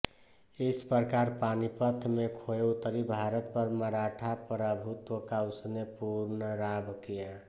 इस प्रकार पानीपत में खोये उत्तरी भारत पर मराठा प्रभुत्व का उसने पुनर्लाभ किया